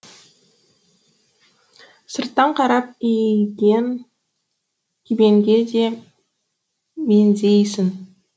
сырттан қарап үйген кебенге де меңзейсің